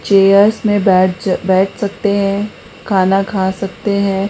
Chairs में बैठ बैठ सकते हैं खाना खा सकते हैं।